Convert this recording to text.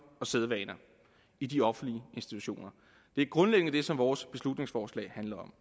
og sædvaner i de offentlige institutioner det er grundlæggende det som vores beslutningsforslag handler om